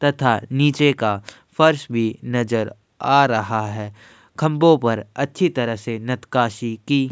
तथा नीचे का फर्श भी नजर आ रहा है खंबों पर अच्छी तरह से नतकशी की --